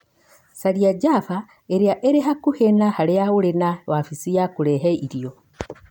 caria Java ĩrĩa ĩrĩ hakuhĩ na harĩa ũrĩ na wabici ya kũrehe irio